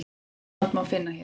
myndbandið má finna hér